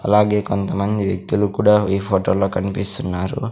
అలాగే కొంతమంది వ్యక్తులు కూడా ఈ ఫోటోలో కనిపిస్తున్నారు.